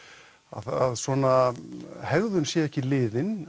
að svona hegðun sé ekki liðin